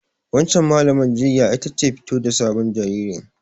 Wancan Mallamar jinyar ita ce fito da sabon jaririn.